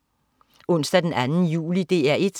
Onsdag den 2. juli - DR 1: